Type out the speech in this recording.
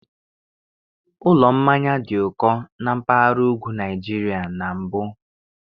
Ụlọ mmanya dị ụkọ na mpaghara ugwu Nigeria na mbụ